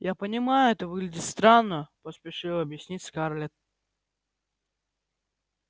я понимаю это выглядит странно поспешила объяснить скарлетт